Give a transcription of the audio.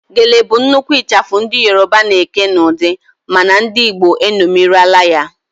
Gele bụ nnukwu ịchafụ ndị Yoroba na-eke n'ụdị mana ndị igbo eṅomirila ya